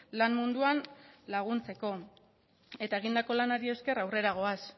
lan munduan laguntzeko eta egindako lanari esker aurrera goaz